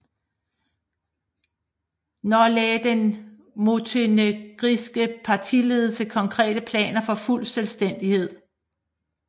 Nå lagde den montenegrinske partiledelse konkrete planer for fuld selvstændighed